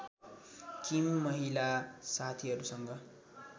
किम महिला साथीहरूसँग